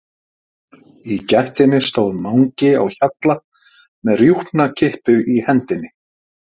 Í gættinni stóð Mangi á Hjalla með rjúpnakippu í hendinni.